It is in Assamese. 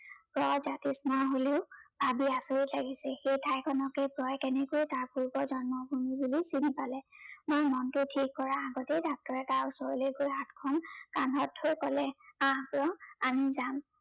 জয় জাতিস্মৰ বুলি ভাবি আচৰিত লাগিছে। সেই ঠাইখনকে জয়ে কেনেকৈ তাৰ পূৰ্ব জন্মভূমি বুলি চিনি পালে। মই মনটো থিৰ কৰাৰ আগতেই doctor এ তাৰ ওচৰলৈ গৈ হাতখন কান্ধত থৈ কলে, আহ জয় আমি যাম